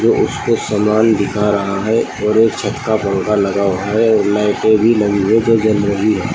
वो उसको सामान दिखा रहा है और एक छत का पंखा लगा हुआ है और लाइटें भी लगी है जो जल रही है।